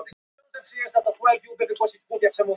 Finndís, hvaða sýningar eru í leikhúsinu á þriðjudaginn?